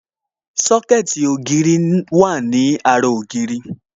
Sọ́kẹ̀tì ògiri wà ní ara ògiri